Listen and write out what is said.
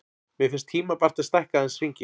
Mér finnst tímabært að stækka aðeins hringinn.